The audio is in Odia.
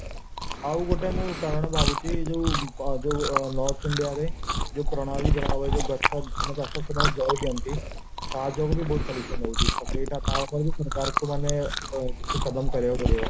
ଆଉଗୋଟିଏ ମୁଁ କାରଣ ଭାବୁଛି ଯୋଉ ଯୋଉ north india ରେ ଯୋଉ ପ୍ରଣାଳୀ ଗଛ ଆମ ଜଣେଇ ଦିଅନ୍ତି ତା ଯୋଗୁଁହିଁ ବହୁତ pollution ହଉଚି ତ ତାପାଇଁ କିଛି କାମ କରିବାକୁପଡିବ